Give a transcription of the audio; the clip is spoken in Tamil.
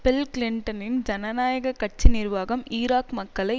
பில் கிளிண்டனின் ஜனநாயக கட்சி நிர்வாகம் ஈராக் மக்களை